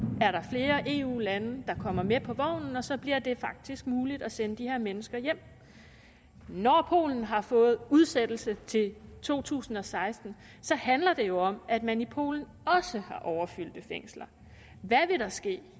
er der flere eu lande der kommer med på vognen og så bliver det faktisk muligt at sende de her mennesker hjem når polen har fået udsættelse til to tusind og seksten handler det jo om at man i polen også har overfyldte fængsler hvad vil der ske